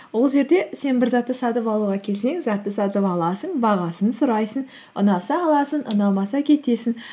ол жерде сен бір затты сатып алуға келсең затты сатып аласың бағасын сұрайсың ұнаса аласың ұнамаса кетесің